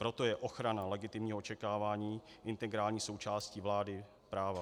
Proto je ochrana legitimního očekávání integrální součástí vlády práva.